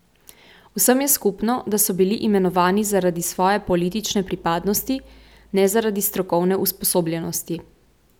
Vsem je skupno, da so bili imenovani zaradi svoje politične pripadnosti, ne zaradi strokovne usposobljenosti.